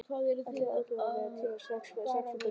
Allar áætlanir um tíma og kostnað fóru strax úr böndum.